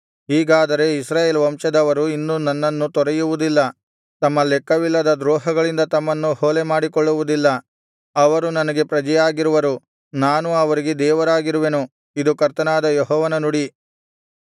ಹೀಗಾದರೆ ಇಸ್ರಾಯೇಲ್ ವಂಶದವರು ಇನ್ನು ನನ್ನನ್ನು ತೊರೆಯುವುದಿಲ್ಲ ತಮ್ಮ ಲೆಕ್ಕವಿಲ್ಲದ ದ್ರೋಹಗಳಿಂದ ತಮ್ಮನ್ನು ಹೊಲೆ ಮಾಡಿಕೊಳ್ಳುವುದಿಲ್ಲ ಅವರು ನನಗೆ ಪ್ರಜೆಯಾಗಿರುವರು ನಾನು ಅವರಿಗೆ ದೇವರಾಗಿರುವೆನು ಇದು ಕರ್ತನಾದ ಯೆಹೋವನ ನುಡಿ